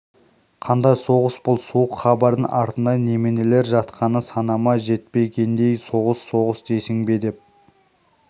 қандай соғыс бұл суық хабардың артында неменелер жатқаны санама жетпе гендей соғыс соғыс дейсің бе деп